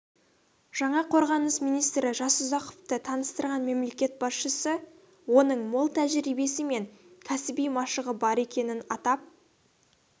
жаңа қорғаныс министрі жасұзақовты таныстырған мемлекет басшысы оның мол тәжірибесі мен кәсіби машығы бар екенін атап